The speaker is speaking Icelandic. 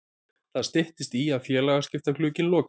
Það styttist í að félagaskiptaglugginn loki.